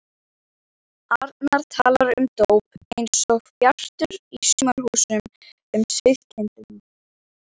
arnar talar um dóp einsog Bjartur í Sumarhúsum um sauðkindina.